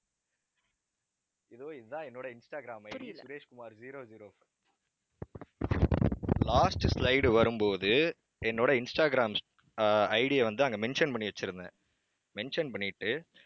இதோ இதுதான் என்னோட Instagram ID Sureshkumar, zero zero last slide வரும்போது என்னோடஇன்ஸ்டாகிராம் ஆஹ் ID ய வந்து, அங்க mention பண்ணி வச்சிருந்தேன். mention பண்ணிட்டு